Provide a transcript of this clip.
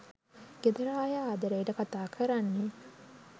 ගෙදර අය ආදරේට කතා කරන්නේ.